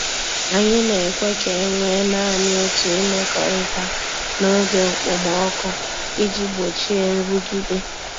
Anyị na-ekwe ka e nwee naanị otu imekọrịta n’oge okpomọkụ iji gbochie nrụgide.